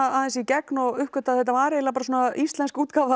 í gegn og uppgötvaði að þetta var eiginlega íslensk útgáfa af